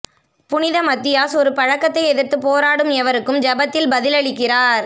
புனித மத்தியாஸ் ஒரு பழக்கத்தை எதிர்த்து போராடும் எவருக்கும் ஜெபத்தில் பதிலளிக்கிறார்